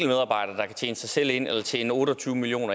tjene sig selv ind eller tjene otte og tyve million